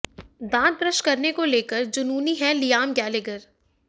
दांत ब्रश करने को लेकर जुनूनी हैं लियाम गैलेगर